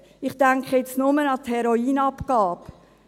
Ich denke jetzt nur an die Heroinabgabe.